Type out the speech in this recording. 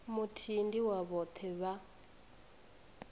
muthihi ndi wa vhoṱhe vha